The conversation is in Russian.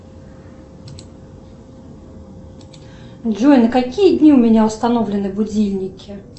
джой на какие дни у меня установлены будильники